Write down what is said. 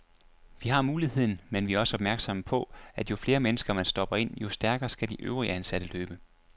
Vi har muligheden, men vi er også opmærksomme på, at jo flere mennesker, man stopper ind, jo stærkere skal de øvrige ansatte løbe.